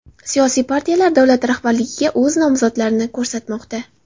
Siyosiy partiyalar davlat rahbarligiga o‘z nomzodlarini ko‘rsatmoqda.